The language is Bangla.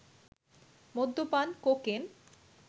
মদ্যপান, কোকেন